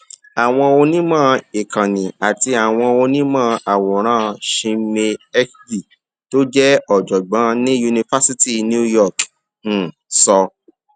àwọn onímò ìkànnì àti àwọn onímò àwòrán chinmayhegde tó jé òjògbón ní yunifásítì new york um sọ